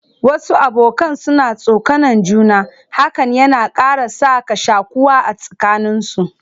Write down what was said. Wasu abokanan suna tsokanan juna, hakan yana ƙara sa ka shaƙuwa a tsakanin su.